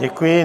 Děkuji.